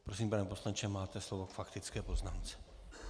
Prosím, pane poslanče, máte slovo k faktické poznámce.